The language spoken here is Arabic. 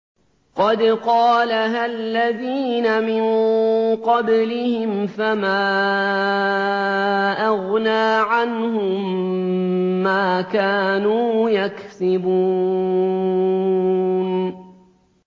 قَدْ قَالَهَا الَّذِينَ مِن قَبْلِهِمْ فَمَا أَغْنَىٰ عَنْهُم مَّا كَانُوا يَكْسِبُونَ